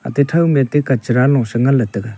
ate to thao me te kachara ngan nga let tega.